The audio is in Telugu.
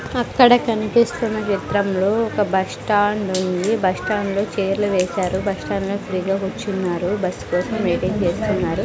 అక్కడ కనిపిస్తున్న చిత్రంలో ఒక బస్టాండ్ ఉంది బస్టాండ్లో చైర్లు వేశారు బస్టాండ్ లో ఫ్రీ గా కూర్చున్నారు బస్ కోసం వెయిటింగ్ చేస్తున్నారు.